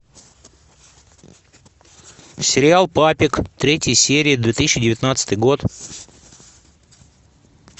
сериал папик третья серия две тысячи девятнадцатый год